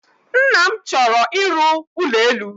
Nna m chọrọ ịrụ ụlọelu.